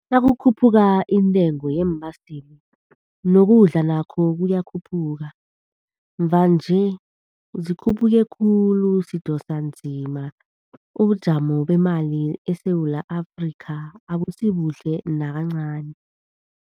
Nakukhuphuka iintengo yeembaseli nokudla nakho kuyakhuphuka. Mvanje zikhuphuke khulu, sidosanzima. Ubujamo beemali eSewula Afrika abusibuhle nakancani.